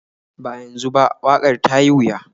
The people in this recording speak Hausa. Ba yanzu ba, waƙar ta yi wuya.